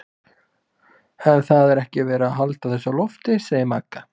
En það er ekkert verið að halda þessu á lofti, segir Magga.